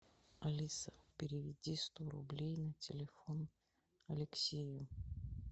алиса переведи сто рублей на телефон алексею